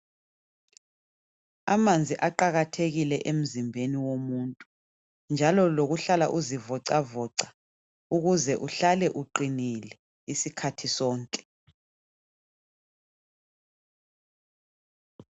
Amanzi aqakathekile emzimbeni womuntu, njalo lokuhlala uzivocavoca ukuze uhlale uqinile isikhathi sonke.